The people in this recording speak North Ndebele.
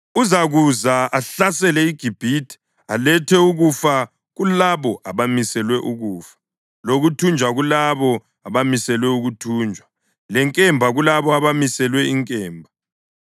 Uzakuza ahlasele iGibhithe, alethe ukufa kulabo abamiselwe ukufa, lokuthunjwa kulabo abamiselwe ukuthunjwa, lenkemba kulabo abamiselwe inkemba.